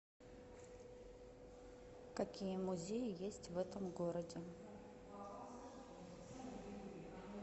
какие музеи есть в этом городе